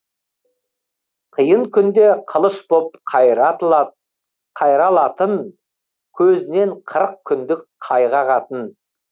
қиын күнде қылыш боп қайралатын көзінен қырық күндік қайғы ағатын